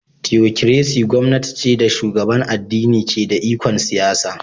"Theocracy" gwamnati ce da shugaban addini ke da ikon siyasa